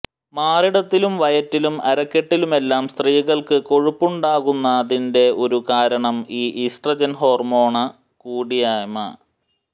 മാറിടത്തിലും വയറ്റിലും അരക്കെട്ടിലുമെല്ലാം സ്ത്രീകള്ക്കു കൊഴുപ്പുണ്ടാകുന്നതിന്റെ ഒരു കാരണം ഈ ഈസ്ട്രജന് ഹോര്മോണ് കൂടിയാമ്